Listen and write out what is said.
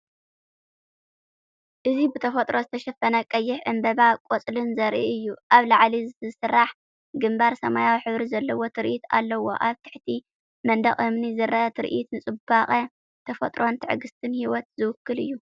እዚ ብተፈጥሮ ዝተሸፈነ ቀይሕ ዕምባባን ቆጽልን ዘርኢ እዩ። ኣብ ላዕሊ ዝስራሕ ግንባር ሰማያዊ ሕብሪ ዘለዎ ትርኢት ኣለዎ። ኣብ ትሕቲ መንደቕ እምኒ ዝረአ ትርኢት ንጽባቐ ተፈጥሮን ትዕግስቲ ህይወትን ዝውክል እዩ።